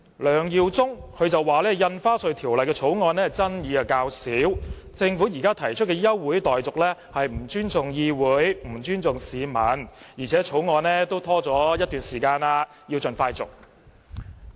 梁耀忠議員說，《條例草案》爭議較少，政府現時提出休會待續議案是不尊重議會和市民，而且《條例草案》已拖延了一段時間，應盡快通過。